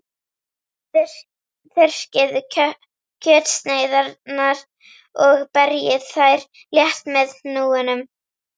Þurrkið kjötsneiðarnar og berjið þær létt með hnúunum.